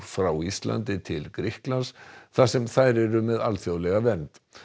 frá Íslandi til Grikklands þar sem þær eru með alþjóðlega vernd